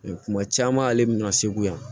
Kuma caman ale bɛna segu yan